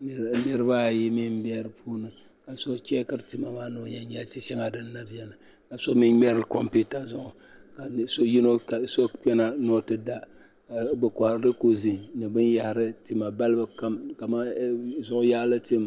ni niriba ayi mi n bɛ di puuni ka so chɛɛkiri tima maa ni o nya n nya tima din na bɛ din ni ka so mi ŋmeri kompiwta zuɣu ka so kpena ni o ti da bi kɔhiri likozid ni bin yahiri tima balibu kam ka mani zuɣu yaali tim.